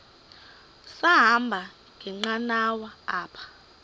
sahamba ngenqanawa apha